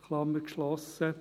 Klammer geschlossen.